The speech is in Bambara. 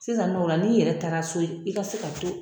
Sisanɔ ola n'i yɛrɛ taara so i ka se ka to.